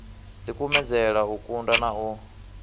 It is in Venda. dikumedzele u tunda na u